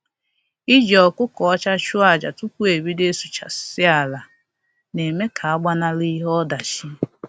Iji ọkụkọ ọcha chụọ aja tupu e bido ịsụchasị ala na-eme ka a gbanahụ ihe ọdachi